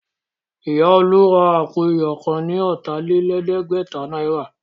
Ìya olú ra àpò iyọ̀ kan ní ọ̀tà-lé-lẹ̀ẹ́dẹ́gbẹ̀ta náírà